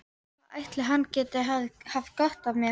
Hvað ætli hann geti haft gott af mér?